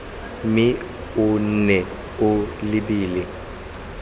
mme o nne o lebile